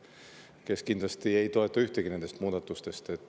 Ta kindlasti ei toeta ühtegi nendest muudatustest.